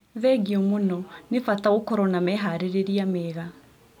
Thegiũ mũno. Nĩ bata gũkorwo na meharĩrĩria mega.